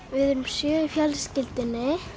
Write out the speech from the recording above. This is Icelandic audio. við erum sjö í fjölskyldunni